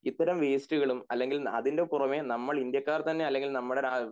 ഇത്തരം വാസ്തുകളും അല്ലെങ്കിൽ അതിന്റെ പുറമെ നമ്മൾ ഇന്ത്യക്കാർ തന്നെ അല്ലെങ്കിൽ നമ്മടെ